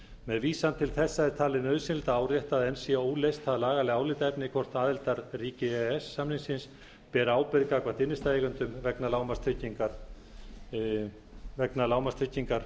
með vísan til þessa er talið nauðsynlegt að árétta að enn sé óleyst það lagalega álitaefni hvort aðildarríki e e s samningsins beri ábyrgð gagnvart innstæðueigendum vegna lágmarkstryggingar